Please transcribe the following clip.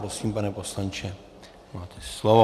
Prosím, pane poslanče, máte slovo.